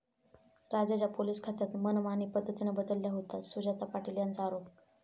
राज्याच्या पोलीस खात्यात मनमानी पद्धतीनं बदल्या होतात, सुजाता पाटील यांचा आरोप